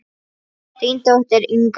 Þín dóttir, Inga.